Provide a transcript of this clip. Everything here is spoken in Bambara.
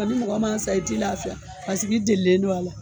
Ni mɔgɔ man sa i t'i laafiya pasik'i delilen do a la.